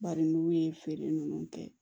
Bari n'u ye feere ninnu kɛ